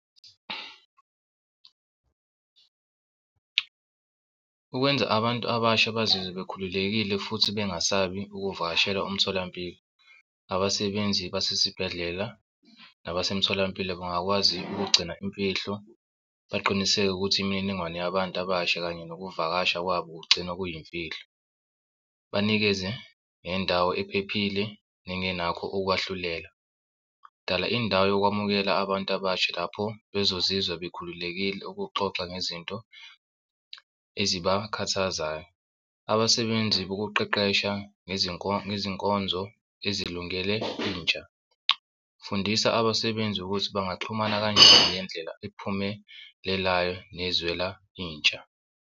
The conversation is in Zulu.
Ukwenza abantu abasha bazizwe bekhululekile futhi bengasabi ukuvakashela umtholampilo, abasebenzi basesibhedlela nabasemtholampilo bangakwazi ukugcina imfihlo, baqiniseke ukuthi imininingwane yabantu abasha kanye nokuvakasha kwabo kugcinwa kuyimfihlo. Banikeze nendawo ephephile nengenakho ukwahlulela. Dala indawo yokwamukela abantu abasha lapho bazozizwa bekhululekile ukuxoxa ngezinto ezibakhathazayo. Abasebenzi bokuqeqesha ngezinkonzo ezilungele intsha. Fundisa abasebenzi ukuthi bangaxhumana kanjani ngendlela ephumelelayo nezwela intsha.